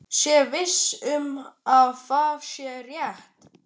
Sé viss um að það sé rétt.